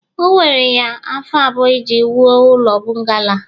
o were ya afọ abụọ iji wuo ụlọ bungalo a